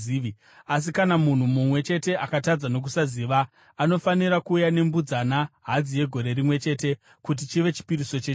“ ‘Asi kana munhu mumwe chete akatadza nokusaziva, anofanira kuuya nembudzana hadzi yegore rimwe chete kuti chive chipiriso chechivi.